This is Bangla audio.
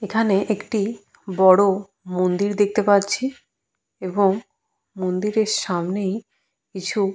এখানে একটি বড় মন্দির দেখতে পাচ্ছি এবং মন্দিরের সামনেই কিছু --